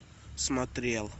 смотрел